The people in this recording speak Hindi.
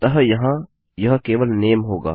अतः यहाँ यह केवल नामे होगा